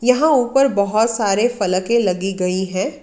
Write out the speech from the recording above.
यहां ऊपर बहोत सारे फलके लगी गयी हैं।